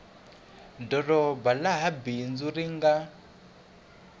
doroba laha bindzu ri nga